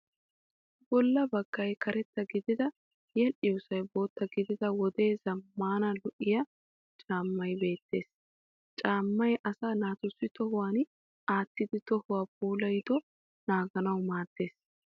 Bolla baggay karetta gididi yedhdhiyoosay bootta gidida wodee zammaana lo'iya caamma beettes. Caammay asaa naatussi tohuwan aattidi tohuwaa puulayido naaganawu maaddes.